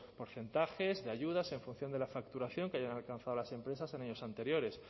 porcentajes de ayudas en función de la facturación que hayan alcanzado las empresas en años anteriores